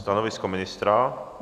Stanovisko ministra?